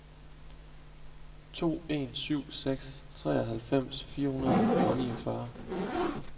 to en syv seks treoghalvfems fire hundrede og niogfyrre